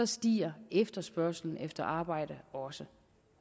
stiger efterspørgslen efter arbejde også